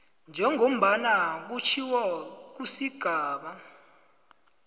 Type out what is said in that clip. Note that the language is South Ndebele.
njengombana kutjhiwo kusigaba